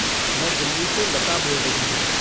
मैं दिल्ली से लता बोल रही हूँ।